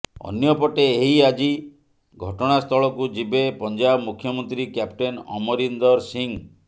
ଅନ୍ୟପଟେ ଏହି ଆଜି ଘଟଣା ସ୍ଥଳକୁ ଯିବେ ପଂଜାବ ମୁଖ୍ୟମନ୍ତ୍ରୀ କ୍ୟାପଟେନ୍ ଅମରିନ୍ଦର ସିଂ